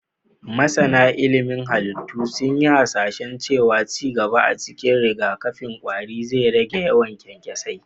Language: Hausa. Masana ilimin halittu sun yi hasashen cewa ci gaba a cikin rigakafin ƙwari zai rage yawan kyankyasai.